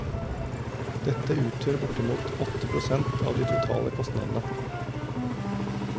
Dette utgjør bortimot åtte prosent av de totale kostnadene.